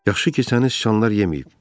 Yaxşı ki, səni siçanlar yeməyib.